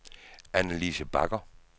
Annalise Bagger